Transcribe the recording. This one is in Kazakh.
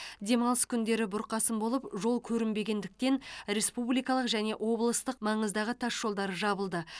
демалыс күндері бұрқасын болып жол көрінбегендіктен республикалық және облыстық маңыздағы тасжолдар жабылды